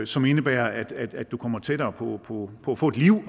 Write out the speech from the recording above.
som indebærer at at du kommer tættere på at få et liv og